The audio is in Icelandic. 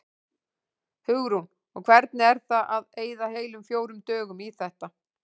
Hugrún: Og hvernig er það að eyða heilum fjórum dögum í þetta?